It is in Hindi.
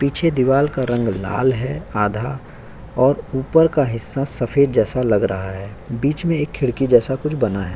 पीछे दीवार का रंग लाल है आधा और ऊपर का हिस्सा सफेद जैसा लग रहा है। बीच में एक खिड़की जैसा कुछ बना है।